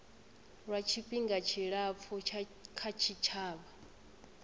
lwa tshifhinga tshilapfu kha tshitshavha